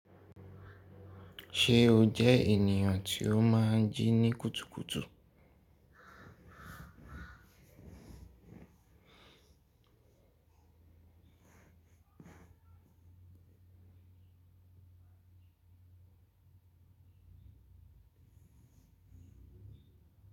Ṣe o jẹ eniyan ti o maa n jini kutukutu?